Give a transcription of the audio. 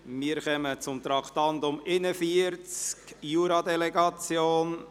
Wir kommen zum Traktandum 41, zur Jura-Delegation.